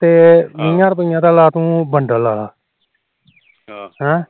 ਤੇ ਵੀਹਾ ਰੁਪੀਏ ਦਾ ਲਾ ਤੂੰ ਬੰਡਲ ਲਾਲਾ ਹਮ